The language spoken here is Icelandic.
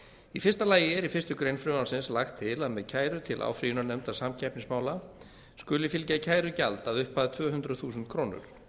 í fyrsta lagi er í fyrstu grein frumvarpsins lagt til að með kæru til áfrýjunarnefndar samkeppnismála skuli fylgja kærugjald að upphæð tvö hundruð þúsund krónur